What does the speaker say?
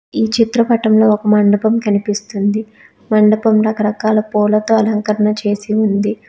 ఈ చిత్ర పటం లో ఒక మండపం కనిపిస్తుంది మండపం రకరకాల పూలతో అలంకరణ చేసి ఉంది.